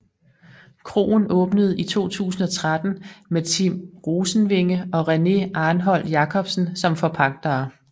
Kroen åbnede i 2013 med Tim Rosenvinge og René Arnholt Jacobsen som forpagtere